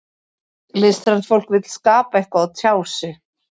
Listrænt fólk vill skapa eitthvað og tjá sig.